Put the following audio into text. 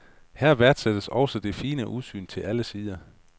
Her værdsættes også det fine udsyn til alle sider.